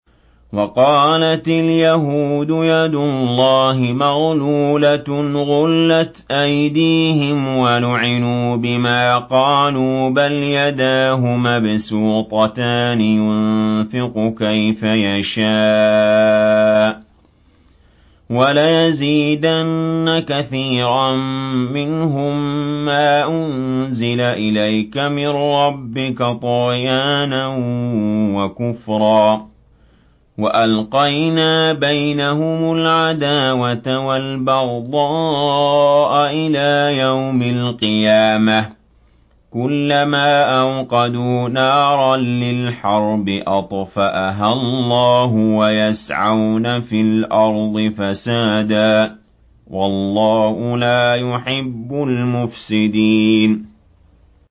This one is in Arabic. وَقَالَتِ الْيَهُودُ يَدُ اللَّهِ مَغْلُولَةٌ ۚ غُلَّتْ أَيْدِيهِمْ وَلُعِنُوا بِمَا قَالُوا ۘ بَلْ يَدَاهُ مَبْسُوطَتَانِ يُنفِقُ كَيْفَ يَشَاءُ ۚ وَلَيَزِيدَنَّ كَثِيرًا مِّنْهُم مَّا أُنزِلَ إِلَيْكَ مِن رَّبِّكَ طُغْيَانًا وَكُفْرًا ۚ وَأَلْقَيْنَا بَيْنَهُمُ الْعَدَاوَةَ وَالْبَغْضَاءَ إِلَىٰ يَوْمِ الْقِيَامَةِ ۚ كُلَّمَا أَوْقَدُوا نَارًا لِّلْحَرْبِ أَطْفَأَهَا اللَّهُ ۚ وَيَسْعَوْنَ فِي الْأَرْضِ فَسَادًا ۚ وَاللَّهُ لَا يُحِبُّ الْمُفْسِدِينَ